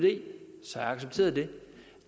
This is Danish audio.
så havde jeg accepteret det